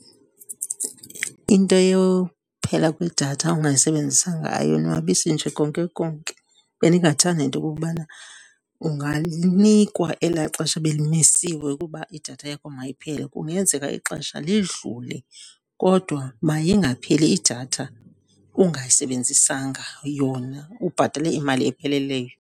Into yophela kwedatha ungayisebenzisanga ayonwabisi nje konke konke. Bendingathanda into okokubana ungalinikwa elaa xesha belimisiwe ukuba idatha yakho mayiphele. Kungenzeka ixesha lidlule kodwa mayingapheli idatha ungayisebenzisanga yona ubhatale imali epheleleyo.